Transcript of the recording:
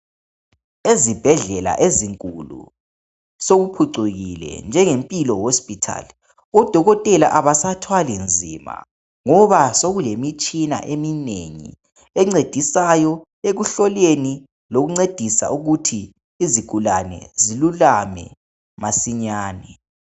Ezibhedlela ezinkulu sokuphucikile njenge Mpilo Hospital odokotela abasathwali nzima ngoba sokulemitshina eminengi encedisayo ekuhloleni lokuncedisa ukuthi izigulane zilulame masinyane.